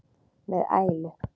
með ælu.